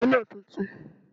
Kẹ̀ké náà tuntun